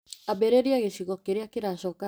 Ambĩrĩria gĩcigo kĩrĩa kĩracoka harĩ thinema .